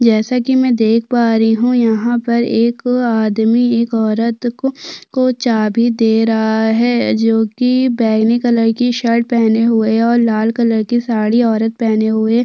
जैसे की में देख पा रही हूँ यहाँ पर एक आदमी एक औरत को को चाबी दे रहा है जो कि बैगनी कलर की शर्ट पहने हुए और लाल कलर की साडी औरत पहने हुए --